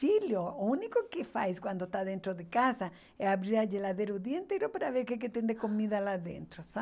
Filho, o único que faz quando está dentro de casa é abrir a geladeira o dia inteiro para ver o que tem de comida lá dentro, sabe?